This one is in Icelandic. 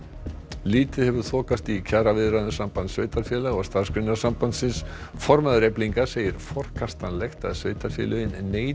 lítið hefur þokast í kjaraviðræðum Sambands sveitarfélaga og Starfsgreinasambandsins formaður Eflingar segir forkastanlegt að sveitarfélögin neiti